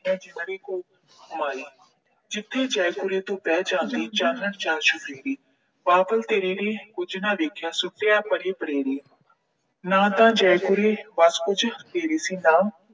ਮੈਂ ਜਿੰਦੜੀ ਘੋਲ ਘੁਮਾਈ। ਜਿੱਥੇ ਜੈ ਕੁਰੇ ਤੂੰ ਬਹਿ ਜਾਂਦੀ, ਚਾਨਣ ਚਾਰ ਚੁਫੇਰੇ। ਬਾਬਲ ਤੇਰੇ ਕੁਝ ਨਾ ਦੇਖਿਆ, ਸੁੱਟ ’ਤੀ ਪਰੇ ਪਰੇਰੇ। ਨਾ ਤਾਂ ਜੈ ਕੁਰੇ ਵਸ ਤੇਰੇ ਸੀ ਨਾ